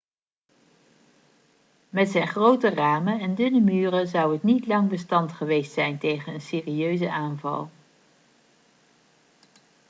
met zijn grote ramen en dunne muren zou het niet lang bestand geweest zijn tegen een serieuze aanval